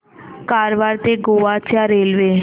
कारवार ते गोवा च्या रेल्वे